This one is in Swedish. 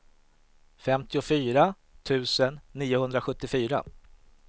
femtiofyra tusen niohundrasjuttiofyra